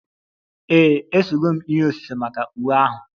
Ee, esego m ihe osise maka iwe ahụ